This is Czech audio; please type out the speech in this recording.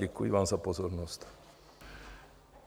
Děkuji vám za pozornost.